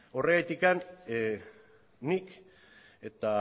horregatik nik eta